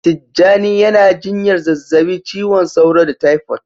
Tijjani yana jinyar zazzabin cizon sauro da taifot